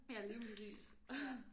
Ja lige præcis ja